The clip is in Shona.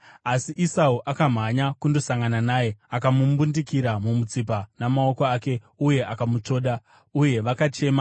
Asi Esau akamhanya kundosangana naye akamumbundikira mumutsipa namaoko ake uye akamutsvoda. Uye vakachema.